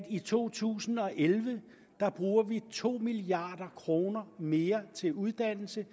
i to tusind og elleve bruger to milliard kroner mere til uddannelse